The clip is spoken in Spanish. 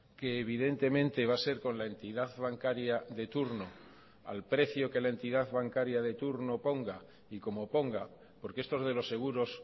que evidentemente va a ser con la entidad bancaria de turno al precio que la entidad bancaria de turno ponga y como ponga porque estos de los seguros